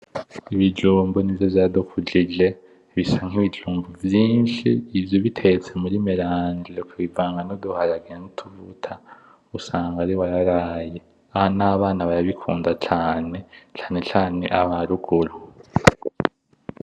Ibijumbu nivyo vyadikujije Bisa nkibijumbu vyinshi ivyo ubitetse muri meranje ukavangamwo uduharage nutuvuta usanga usanga ari wararaye , nabana barabikunda cane , cane cane abaruguru.